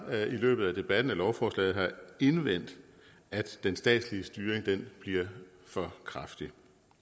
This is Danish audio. løbet af debatten om lovforslaget har indvendt at den statslige styring bliver for kraftig